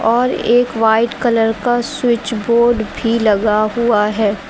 और एक white colour का स्विच बोर्ड भी लगा हुआ है।